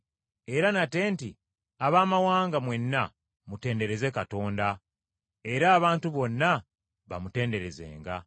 Era nate nti, “Abaamawanga mwenna, mutendereze Mukama, era abantu bonna bamutenderezenga.”